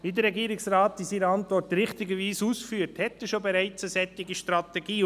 Wie der Regierungsrat in seiner Antwort richtigerweise ausführt, hat er bereits eine solche Strategie.